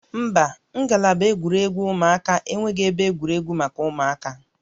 Mba, ngalaba egwuregwu ụmụaka enweghị ebe egwuregwu maka ụmụaka